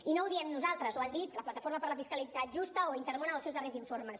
i no ho diem nosaltres ho han dit la plataforma per una fiscalitat justa o intermón en els seus darrers informes